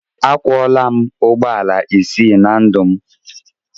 Akwọọla m ụgbọelu isii na ndụ m